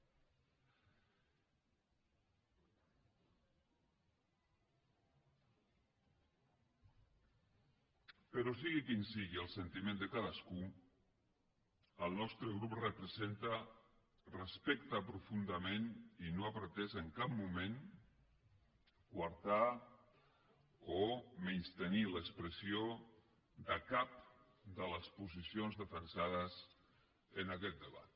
però sigui quin sigui el sentiment de cadascú el nostre grup representa respecta profundament i no ha pretès en cap moment coartar o menystenir l’expressió de cap de les posicions defensades en aquest debat